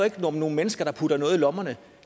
om nogle mennesker der putter noget i lommerne